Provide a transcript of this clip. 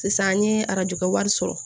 Sisan n ye arajo wari sɔrɔ